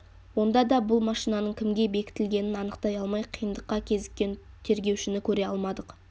онда да бұл машинаның кімге бекітілгенін анықтай алмай қиындыққа кезіккен тергеушіні көре алмадық